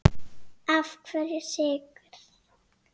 Af hverju Sykur?